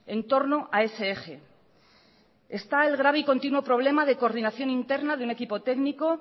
en torno a ese eje está el grave y continuo problema de coordinación interna de un equipo técnico